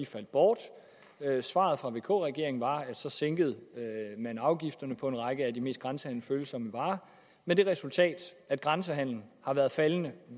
faldt bort svaret fra vk regeringen var at så sænkede man afgifterne på en række af de mest grænsehandelsfølsomme varer med det resultat at grænsehandelen har været faldende